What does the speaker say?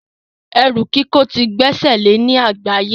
Ẹrú kíkò ti gbesele ní àgbáye